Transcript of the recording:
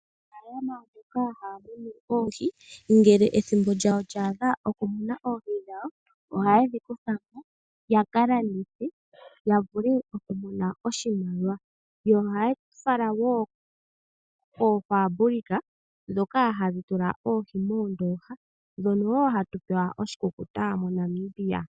Omunafaalama oha munu oohi ngele ethimbo lya adha okuteya oohi dhawo, ohaye dhi kutha mo ya ka landithe ya vule okumona oshimaliwa. Ohaya fala wo koofaabulika ndhoka hadhi tula oohi moondooha naandhono wo hatu pewa onga iikulya yoshikukuta moNamibia.